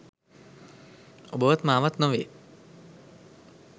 ඔබවත් මා වත් නොවේ